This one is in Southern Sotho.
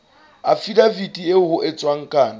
afidaviti eo ho entsweng kano